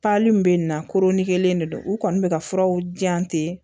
min bɛ na koronikelen de don u kɔni bɛ ka furaw di yan ten